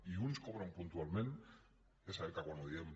i uns cobren puntualment és cert que quan ho diem